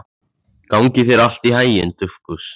Gangi þér allt í haginn, Dufgus.